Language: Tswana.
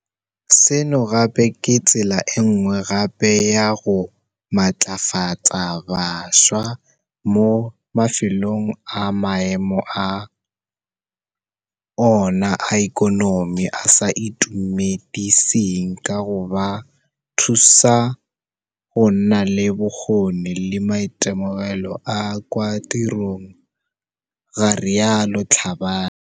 Seno gape ke tsela enngwe gape ya go matlafatsa bašwa mo mafelong a maemo a ona a ikonomi a sa itumediseng ka go ba thusa go nna le bokgoni le maitemogelo a kwa tirong, ga rialo Tlhabane.